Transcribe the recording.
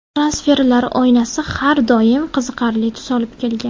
Transferlar oynasi har doim qiziqarli tus olib kelgan.